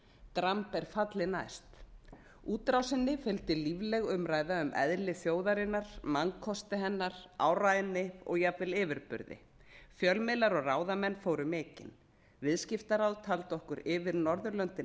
dramb er falli næst útrásinni fylgdi lífleg umræða um eðli þjóðarinnar mannkosti hennar áræðni og jafnvel yfirburði fjölmiðlar og ráðamenn fóru mikinn viðskiptaráð taldi okkur yfir norðurlöndin